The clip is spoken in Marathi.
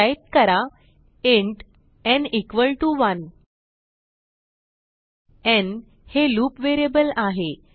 टाईप करा इंट न् 1 न् हे लूप व्हेरिएबल आहे